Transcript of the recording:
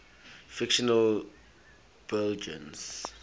fictional belgians